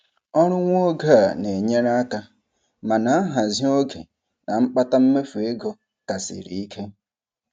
Ọrụ nwa oge a na-enyere aka, mana nhazị oge na mkpata mmefu ego ka siri ike.